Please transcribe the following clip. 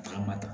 A ma ta